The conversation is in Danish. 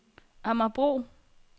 Amagerbro